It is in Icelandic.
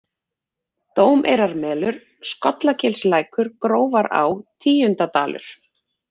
Dómeyrarmelur, Skollagilslækur, Grófará, Tíundadalur